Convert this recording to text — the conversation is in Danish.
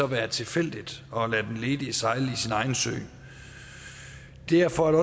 være tilfældigt og lade den ledige sejle sin egen sø derfor er